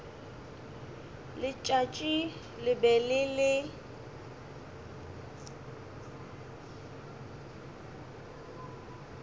letšatši le be le le